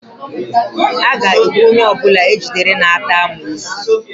A ga-egbu onye ọbụla ejidere na-ata amoosu